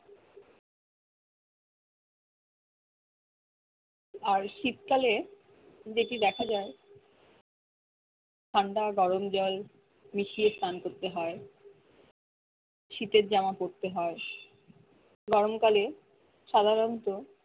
আর শীতকালে যেটি দ্যাখা যায় ঠান্ডা গরম জল মিশিয়ে স্নান করতে হয় শীতের জামা পড়তে হয় গরমকালে সাধারণত